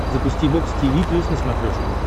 запусти бокс тиви плюс на смотрешке